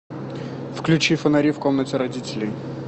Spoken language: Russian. включи фонари в комнате родителей